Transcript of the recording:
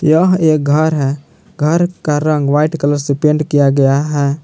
यह एक घर हैं घर का रंग व्हाइट कलर से पैंट किया गया हैं।